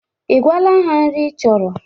Ị gwaala ha nri ị chọrọ